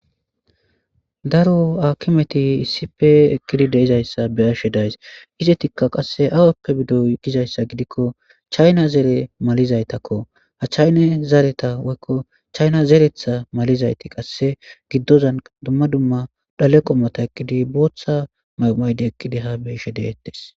Daaro hakkimeti issippe eqqidi deizayssa beashe dayssi izzetika qasse awoppe biido gizayssa giidiko chaayina zeere malizayttako ha chayyina zeereta woykko chayyina zereththa mallizayti qasse giidozan dumma dumma dhalle qommotta ekkidi booththa mayo mayi eqqidi ha beishe de'ettes.